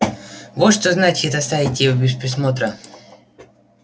вот что значит оставить их без присмотра